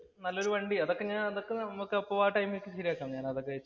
നല്ലൊരു വണ്ടി അതൊക്കെ ഞാന്‍ അതൊക്കെ ഞാന്‍ അതൊക്കെ നമുക്ക് അപ്പോൾ ആ ടൈമില്‍ ശരിയാക്കാം. ഞാനതൊക്കെ